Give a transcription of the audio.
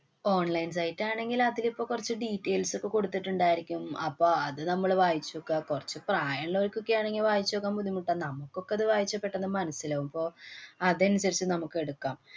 online site ആണെങ്കില്‍ അതിലിപ്പോ കൊറച്ചു details ഒക്കെ കൊടുത്തിട്ടുണ്ടായിരിക്കും. അപ്പൊ അത് നമ്മള് വായിച്ചൊക്ക. കൊറച്ചു പ്രായമുള്ളവര്‍ക്കൊക്കെയാണെങ്കി വായിച്ചു നോക്കാന്‍ ബുദ്ധിമുട്ടാ. നമുക്കൊക്കെത് വായിച്ചാ പെട്ടന്ന് മനസിലാകും. അപ്പൊ അതനുസരിച്ച് നമുക്ക് എടുക്കാം.